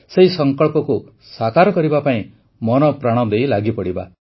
ସେହି ସଂକଳ୍ପକୁ ସାକାର କରିବା ପାଇଁ ମନପ୍ରାଣ ଦେଇ ଲାଗି ପଡ଼ିବା